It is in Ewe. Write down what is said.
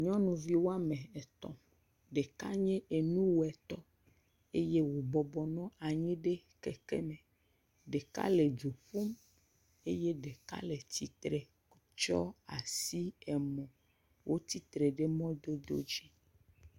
Nyɔnuvi woame etɔ̃, ɖeka nye enuwɔtɔ, ɖeka le du ƒum, eye ɖeka le tsitre, tsyɔ asi emo, wotsitre ɖe mɔdodo dzi.